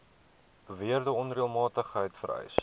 beweerde onreëlmatigheid vereis